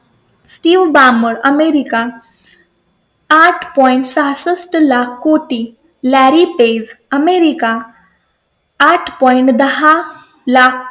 Steve Ballmer, America आठ point point सहासष्ठ लाख कोटी लॅरी पेज अमेरिका आठ पॉइंट point दहा लाख